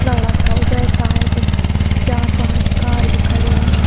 सड़क का ऊबे साइड चार पांच कार भी खड़ी हुईं।